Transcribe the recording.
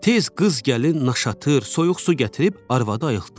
Tez qız gəlin naşatır, soyuq su gətirib arvadı ayıltdılar.